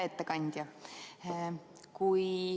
Hea ettekandja!